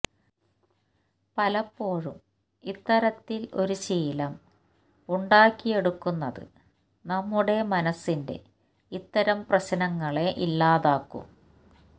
പലപ്പോഴും ഇത്തരത്തില് ഒരു ശീലം ഉണ്ടാക്കിയെടുക്കുന്നത് നമ്മുടെ മനസ്സിന്റെ ഇത്തരം പ്രശ്നങ്ങളെ ഇല്ലാതാക്കും